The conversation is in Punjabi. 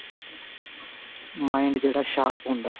mind ਜਿਹੜਾ sharp ਹੁੰਦਾ